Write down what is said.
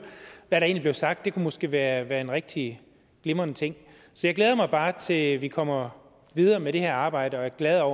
hvad der egentlig blev sagt det kunne måske være være en rigtig glimrende ting så jeg glæder mig bare til at vi kommer videre med det her arbejde og jeg er